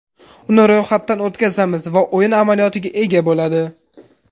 Uni ro‘yxatdan o‘tkazamiz va o‘yin amaliyotiga ega bo‘ladi.